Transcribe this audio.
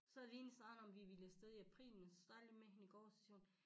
Så havde vi egentlig snakket om vi ville afsted i april men så snakkede jeg lige med hende i går så siger hun